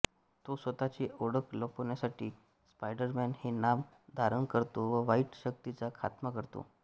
तो स्वतःची ओळख लपवण्यासाठी स्पायडरमॅन हे नाम धारण करतो व वाईट शक्तींचा खातमा करतो